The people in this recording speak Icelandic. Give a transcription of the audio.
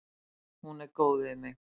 Hún er góð við mig.